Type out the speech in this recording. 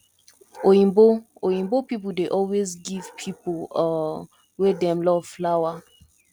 oyinbo oyinbo people dey always give pipo um wey dem love flower